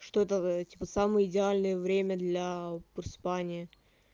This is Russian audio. что тогда самое идеальное время для просыпания